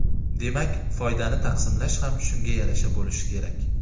Demak, foydani taqsimlash ham shunga yarasha bo‘lishi kerak.